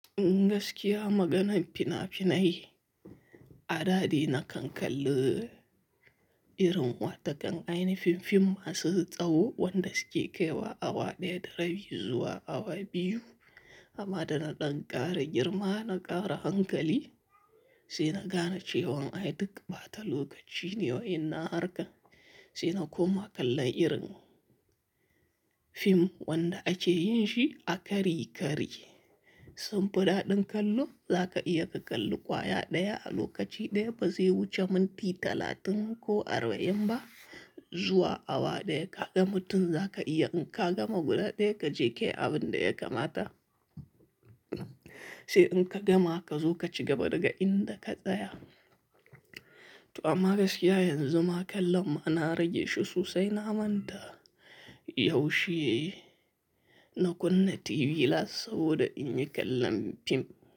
Gaskiya maganan fina-finai, adadai na kankalli irin wata kan aini fim-fim masu tsawo wanda suke kaiwa awa ɗaya da rabi zuwa awa biyu amma da na ɗan ƙara girma na ƙara hankali sai na gane cewan ai duk ɓata lokaci ne wai na harka sai na koma kallon irin fim wanda ake yin shi a kari-kari. Sun fi daɗin kallon zaka iya ka kalli kwaya ɗaya a lokaci ɗaya bazai wuce minti talatin ko arba'in ba zuwa awa ɗaya ka ga mutum zaka iya in ka gama guda ɗaya ka je kayi abin da ya kamata sai in ka gama ka zo ka cigaba daga inda ka tsaya. To amma gaskiya yanzu ma kallon ma na rage shi sosai na manta yaushe na kunna TV las saboda in yi kallon fim.